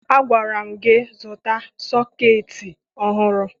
Agwara m gị zụta sọketị ọhụrụ!